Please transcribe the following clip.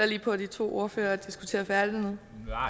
lige på at de to ordførere diskuterer færdig